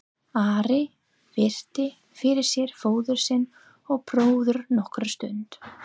Ari virti fyrir sér föður sinn og bróður nokkra stund.